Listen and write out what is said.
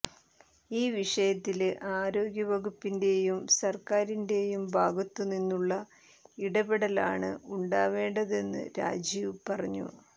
ഈ വിഷയത്തില് ആരോഗ്യവകുപ്പിന്റെയും സര്ക്കാരിന്റെയും ഭാഗത്തുനിന്നുള്ള ഇടപെടലാണ് ഉണ്ടാവേണ്ടതെന്ന് രാജീവ് പറഞ്ഞു